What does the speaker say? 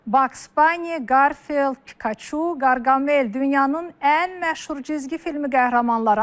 Baks Bani, Qarfield, Pikaçu, Qarqamel dünyanın ən məşhur cizgi filmi qəhrəmanları.